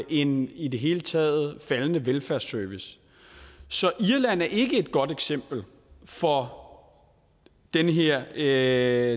en i det hele taget faldende velfærdsservice så irland er ikke et godt eksempel for den her